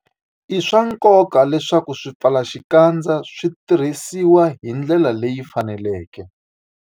I swa nkoka leswaku swipfalaxikandza swi tirhisiwa hi ndlela leyi faneleke.